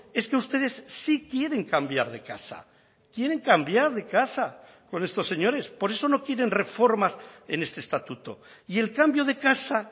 es que ustedes sí quieren cambiar de casa quieren cambiar de casa con estos señores por eso no quieren reformas en este estatuto y el cambio de casa